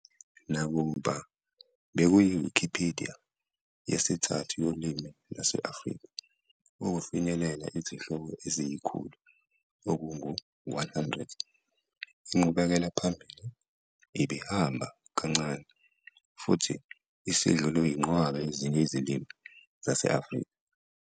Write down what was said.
Nakuba bekuyiWikipedia yesithathu yolimi lwase-Afrika ukufinyelela izihloko eziyi-100, inqubekelaphambili ibihamba kancane, futhi isidlulwe yinqwaba yezinye izilimi zase-Afrika.